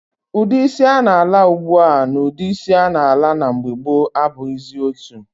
Udi isi a na-ala ugbua na udi isi a na-ala na mgbe gboo abughizi otu.